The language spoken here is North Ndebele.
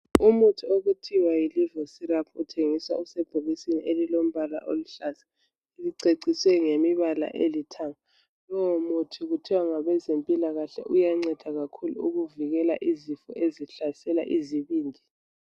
Umuthi okuthiwa yi liver syrup uthengiswa usebhokisini elilombala oluhlaza, liceciswe ngemibala elithanga. Lowo muthi kuthiwa ngabe zempilakahle uyanceda kakhulu ukuvikela izifo ezihlasela izibindi.